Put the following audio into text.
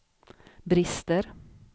brister